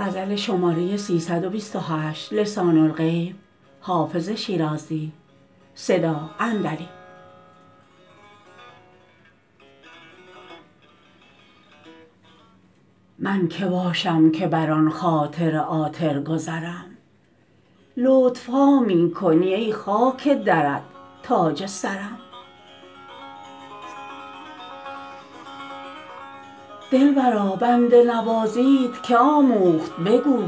من که باشم که بر آن خاطر عاطر گذرم لطف ها می کنی ای خاک درت تاج سرم دلبرا بنده نوازیت که آموخت بگو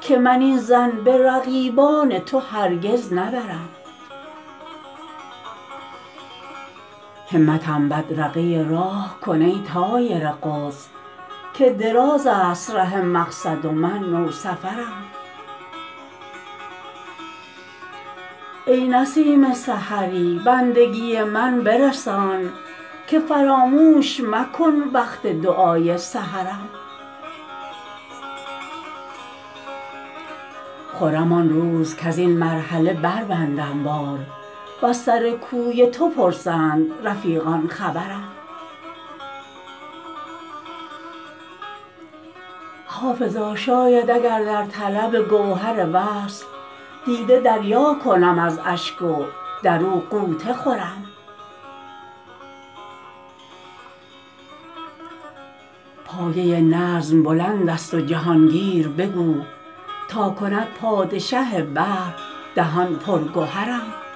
که من این ظن به رقیبان تو هرگز نبرم همتم بدرقه راه کن ای طایر قدس که دراز است ره مقصد و من نوسفرم ای نسیم سحری بندگی من برسان که فراموش مکن وقت دعای سحرم خرم آن روز کز این مرحله بربندم بار و از سر کوی تو پرسند رفیقان خبرم حافظا شاید اگر در طلب گوهر وصل دیده دریا کنم از اشک و در او غوطه خورم پایه نظم بلند است و جهان گیر بگو تا کند پادشه بحر دهان پر گهرم